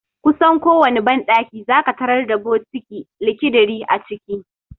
Kusan kowane banɗaki zaka tarar da bokiti (likidiri) a ciki.